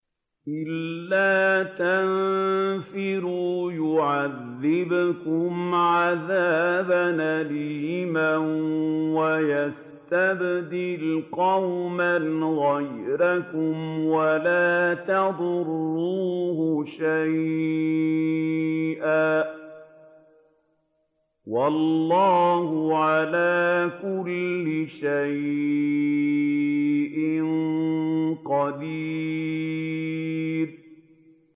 إِلَّا تَنفِرُوا يُعَذِّبْكُمْ عَذَابًا أَلِيمًا وَيَسْتَبْدِلْ قَوْمًا غَيْرَكُمْ وَلَا تَضُرُّوهُ شَيْئًا ۗ وَاللَّهُ عَلَىٰ كُلِّ شَيْءٍ قَدِيرٌ